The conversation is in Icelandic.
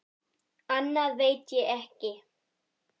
Annað veit ég ekki.